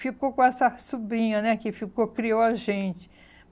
Ficou com essa sobrinha né que ficou criou a gente.